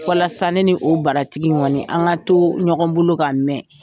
Walasa ne ni o baratigi in kɔni an ka to ɲɔgɔn bolo ka mɛn